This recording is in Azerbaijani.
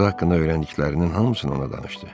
Qızı haqqında öyrəndiklərinin hamısını ona danışdı.